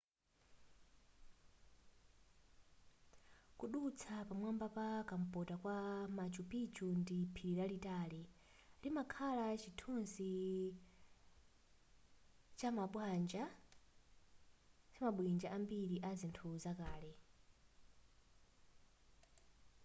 kudutsa pamwamba pa kumpota kwa machu picchu ndi phiri lalitali limakhala chithunzi chamabwinja ambiri a zinthu zakale